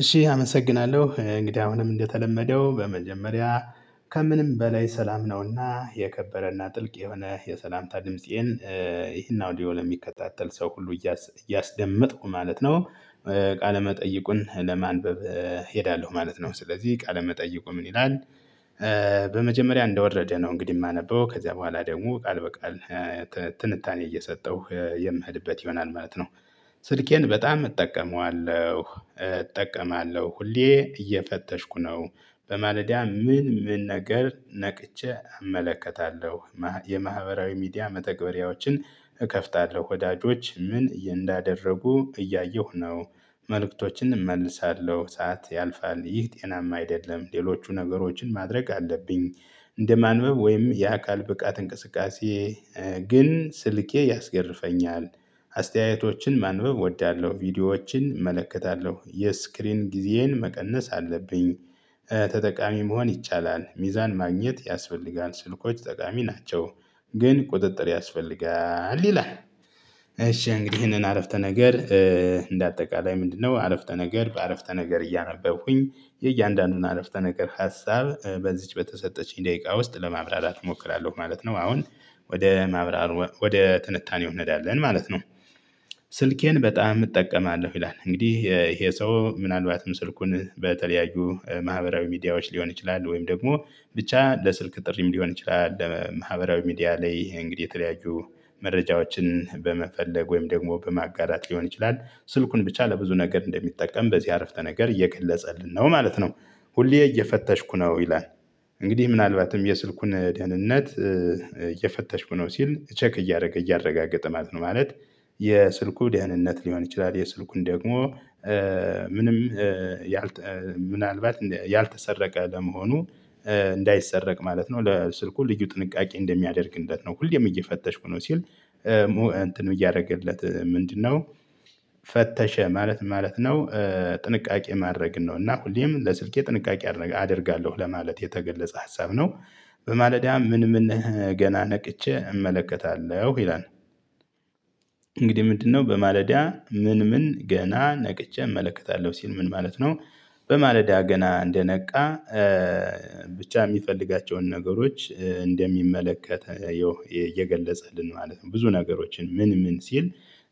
እሺ አመሰግናለሁ እንግዲህ አሁንም እንደተለመደው በመጀመሪያ ከምንም በላይ ሰላም ነውና የከበረና ጥልቅ የሆነ የሰላምታ ድምፄን። ይህን አውዲዮ ለሚከታተል ሰው ሁሉ እያስደመጥኩ ማለት ነው። ቃለመጠይቁን ለማንበብ እሄዳለሁ ማለት ነው ስለዚህ ቃለመጠይቁ ምን ይላል? በመጀመሪያ እንደወረደ ነው እንግዲህ የማነበው ከዚያ በኋላ ደግሞ ቃል በቃል። ትንታኔ እየሰጠሁ የምሄድበት ይሆናል ማለት ነው። ስልኬን በጣም እጠቀመዋለሁ እጠቀማለሁ ሁሌ እየፈተሽኩ ነው። በማለዳ ምን ምን ነገር ነቅቼ አመለከታለሁ። የማህበራዊ ሚዲያ መተግበሪያዎችን እከፍታለሁ ወዳጆች ምን እንዳደረጉ እያየሁ ነው። መልእክቶችን እመልሳለሁ ሰዓት ያልፋል ይህ ጤናማ አይደለም። ሌሎቹ ነገሮችን ማድረግ አለብኝ። እንደማንበብ ወይም የአካል ብቃት እንቅስቃሴ ግን ስልኬ ያስገርፈኛል። አስተያየቶችን ማንበብ እወዳለሁ ቪዲዮዎችን እመለከታለሁ የስክሪን ጊዜዬን መቀነስ አለብኝ። ተጠቃሚ መሆን ይቻላል ሚዛን ማግኘት ያስፈልጋል ስልኮች ጠቃሚ ናቸው። ግን ቁጥጥር ያስፈልጋል ይላል። እሺ እንግዲህ ይሄንን አረፍተ ነገር እንደ አጠቃላይ ምንድነው? አረፍተ ነገር በአረፍተ ነገር እያነበብኩኝ የእያንዳንዱን አረፍተ ነገር ሀሳብ በዚች በተሰጠችኝ ደቂቃ ውስጥ ለማብራራት እሞክራለሁ ማለት ነው። አሁን ወደ ማብራራት ወደ ትንታኔ እንሄዳለን ማለት ነው። ስልኬን በጣም እጠቀማለሁ ይላል እንግዲህ ይሄ ሰው ምናልባትም ስልኩን በተለያዩ ማህበራዊ ሚዲያዎች ሊሆን ይችላል። ወይም ደግሞ ብቻ ለስልክ ጥሪም ሊሆን ይችላል። ለማህበራዊ ሚዲያ ላይ እንግዲህ የተለያዩ መረጃዎችን በመፈለግ ወይም ደግሞ በማጋራት ሊሆን ይችላል። ስልኩን ብቻ ለብዙ ነገር እንደሚጠቀም በዚህ አረፍተ ነገር እየገለጸልን ነው ማለት ነው። ሁሌ እየፈተሽኩ ነው ይላል። እንግዲህ ምናልባትም የስልኩን ደህንነት እየፈተሽኩ ነው ሲል ቼክ እያደረገ እያረጋገጠ ማለት ነው ማለት። የስልኩ ደህንነት ሊሆን ይችላል የስልኩን ደግሞ ምንም ያልተ ምናልባት ያልተሰረቀ ለመሆኑ። እንዳይሰረቅ ማለት ነው ለስልኩ ልዩ ጥንቃቄ እንደሚያደርግለት ነው ሁሌም እየፈተሽኩ ነው ሲል። እንትኑ እያደረገለት ምንድነው? ፈተሸ ማለት ማለት ነው። ጥንቃቄ ማድረግ ነው እና ሁሌም ለስልኬ ጥንቃቄ አደርጋለሁ ለማለት የተገለጸ ሀሳብ ነው። በማለዳ ምን ምን ገና ነቅቼ እመለከታለሁ ይላል። እንግዲህ ምንድነው? በማለዳ ምን ምን ገና ነቅቼ እመለከታለሁ ሲል ምን ማለት ነው። በማለዳ ገና እንደነቃ ብቻ የሚፈልጋቸውን ነገሮች እንደሚመለከት ይኸው እየገለጸልን ማለት ነው። ብዙ ነገሮችን ምን ምን ሲል?